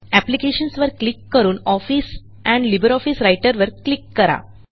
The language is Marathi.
Applicationsवर क्लिक करून ऑफिस एंड लिब्रिऑफिस राइटर वर क्लिक करा